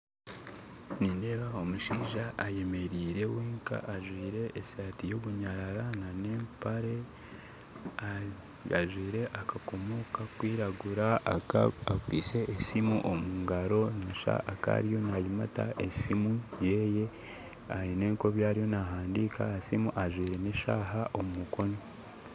Nindeeba omushaija ayemeraire wenka ajwire esaati y'obunyarara n'empare ajwire akakomo kakwiragura akwitse esiimu omugaro noshuusha akaba nayimata esiimu yeeye aine nk'ebi ariyo naahandiika aha siimu ajwire n'eshaaha omu mukono